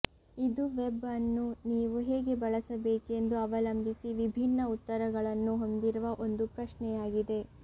ಇದು ವೆಬ್ ಅನ್ನು ನೀವು ಹೇಗೆ ಬಳಸಬೇಕೆಂದು ಅವಲಂಬಿಸಿ ವಿಭಿನ್ನ ಉತ್ತರಗಳನ್ನು ಹೊಂದಿರುವ ಒಂದು ಪ್ರಶ್ನೆಯಾಗಿದೆ